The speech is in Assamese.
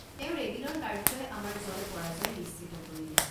তেওঁৰ এদিনৰ কাৰ্যই আমাৰ জয় পৰাজয় নিশ্চিত কৰিলে।